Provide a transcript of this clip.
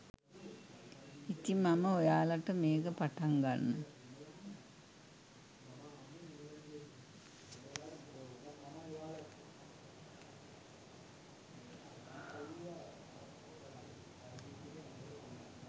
ඉතින් මම ඔයාලට මේක පටන් ගන්න